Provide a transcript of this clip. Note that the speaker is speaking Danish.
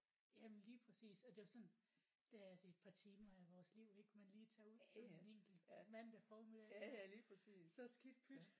Jamen lige præcis og det er også sådan der er det et par timer af vores liv ik man lige tager ud sådan en enkelt mandag formiddag så skidt pyt